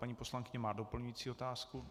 Paní poslankyně má doplňující otázku?